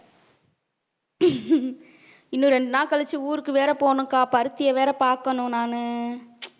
இன்னும் ரெண்டு நாள் கழிச்சு ஊருக்கு வேற போகணும் அக்கா பருத்தியை வேற பாக்கணும் நானு.